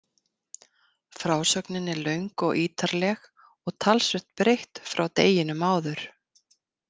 Frásögnin er löng og ítarleg og talsvert breytt frá deginum áður.